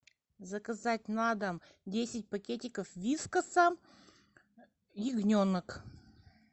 заказать на дом десять пакетиков вискаса ягненок